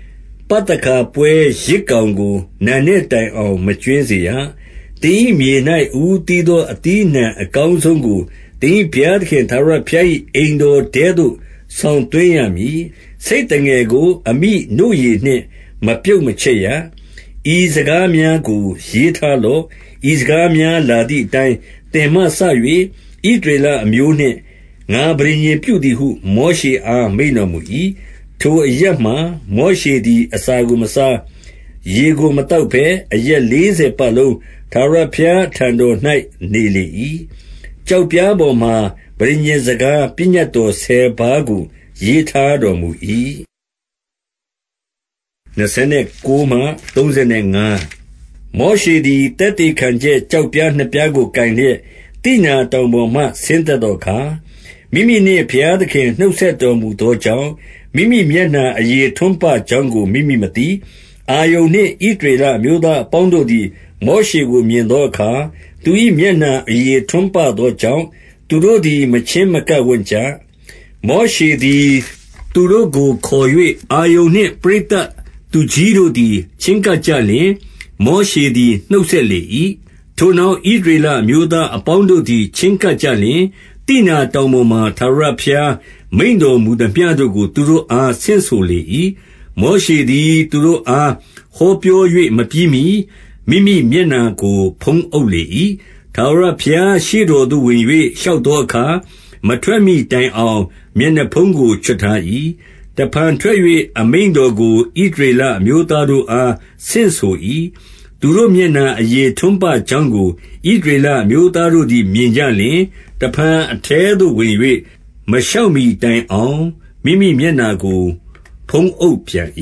။ ပသခါပွဲယဇ်ကောင်ကို၊ နံနက်တိုင်အောင် မကြွင်းစေရ။ 26 သင်၏မြေ၌ အဦးသီးသော အသီးအနှံအကောင်းဆုံးကို သင်၏ ဘုရားသခင်ထာဝရဘုရား၏ အိမ်တော်ထဲသို့ ဆောင်သွင်းရမည်။ ဆိတ်သငယ်ကို အမိနို့ရည်နှင့် မပြုတ်မချက်ရ။ 27 ဤစကားများကို ရေးထားလော့။ ဤစကားများလာသည် အတိုင်း သင်မှစ၍ ဣသရေလအမျိုးနှင့် ငါပဋိညာဉ်ပြုသည်ဟု မောရှေအား မိန့်တော်မူ၏။ 28 ထိုအရပ်မှာ မောရှေသည် အစာကို မစား၊ ရေကို မသောက်ဘဲ။ အရက်လေးဆယ်ပတ်လုံး ထာဝရ ဘုရားအထံတော်၌ နေလေ၏။ ကျောက်ပြားပေါ်မှာ ပဋိညာဉ်စကား၊ ပညတ်တော်ဆယ်ပါးကို ရေးထားတော် မူ၏။ 29 မောရှေသည် သက်သေခံချက် ကျောက်ပြားနှစ်ပြားကို ကိုင်လျက်၊ သိနာတောင်ပေါ်မှ ဆင်းသက်သောအခါ၊ မိမိနှင့် ဘုရားသခင် နှုတ်ဆက်တော်မူသောကြောင့်၊ မိမိမျက်နှာအရေ ထွန်းပကြောင်းကို မိမိမသိ။ 30 အာရုန်နှင့် ဣသရေလအမျိုးသားအပေါင်းတို့သည်၊ မောရှေကို မြင်သောအခါ၊ သူ၏မျက်နှာ အရေထွန်းပသောကြောင့်၊ သူတို့သည် မချဉ်းမကပ်ဝံ့ကြ။ 31 မောရှေသည် သူတို့ကို ခေါ်၍၊ အာရုန်နှင့် ပရိသတ်သူကြီးတို့သည် ချဉ်းကပ်ကြလျှင်၊ မောရှေသည် နှုတ်ဆက်လေ၏။ 32 ထိုနောက် ဣသရေလအမျိုးသားအပေါင်းတို့သည် ချဉ်းကပ်ကြလျှင်၊ သိနာတောင်ပေါ်မှာ ထာဝရ ဘုရားမိန့်တော်မူသမျှတို့ကို သူတို့အား ဆင့်ဆိုလေ၏။ 33 မောရှေသည် သူတို့အား ဟောပြော၍ မပြီးမှီ မိမိမျက်နှာကို ဖုံးအုပ်လေ၏။ 34 ထာဝရဘုရားရှေ့တော်သို့ ဝင်၍လျှောက်သောအခါ၊ မထွက်မှီတိုင်အောင် မျက်နှာဖုံးကို ချွတ်ထား၏။ တဖန် ထွက်၍ အမိန့်တော်ကို ဣသရေလအမျိုးသားတို့အား ဆင့်ဆို၏။ 35 သူ၏မျက်နှာအရေ ထွန်းပကြောင်းကို ဣသရေလအမျိုးသားတို့သည် မြင်ကြလျှင်၊ တဖန် အထဲသို့ ဝင်၍ မလျှောက်မှီတိုင်အောင် မိမိမျက်နှာကို ဖုံးအုပ်ပြန်၏